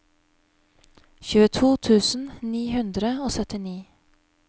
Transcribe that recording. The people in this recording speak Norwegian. tjueto tusen ni hundre og syttini